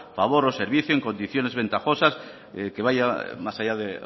favor o servicio en condiciones ventajosas que vaya más allá de